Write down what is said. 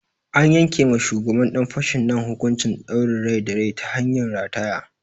An yanke ma shugaban ɗan fashin nan hukuncin ɗaurin rai da rai ta hanyar rataya.